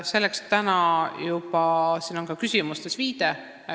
Sellele oli juba siin küsimustes ka viide.